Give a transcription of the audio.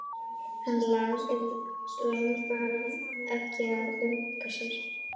Hann langaði ekki að runka sér.